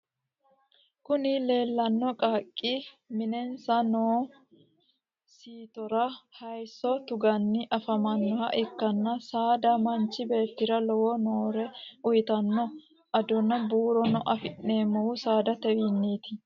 kuni leellanno qaaqqi minensa noo siitora hayisso tuganni afamannoha ikkanna saada manchi beettira lowo horo uyitanno. adonna buuro afi'neemohu saadatewiiniti.